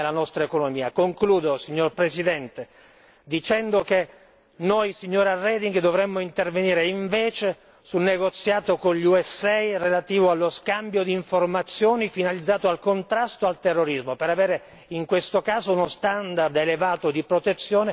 Concludo signor Presidente dicendo che noi, signora Reding, dovremmo intervenire invece sul negoziato con gli USA relativo allo scambio di informazioni finalizzato al contrasto al terrorismo per avere in questo caso uno standard elevato di protezione nei confronti dei cittadini europei.